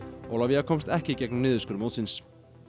Ólafía komst ekki í gegnum niðurskurð mótsins